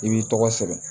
I b'i tɔgɔ sɛbɛn